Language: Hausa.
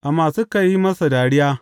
Amma suka yi masa dariya.